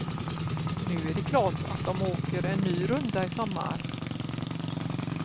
Nu är det klart att de åker en ny runda i sommar.